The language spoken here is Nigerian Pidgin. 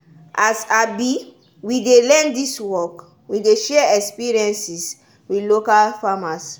as um we dey learn dis work we dey meet and share experiences with local farmers.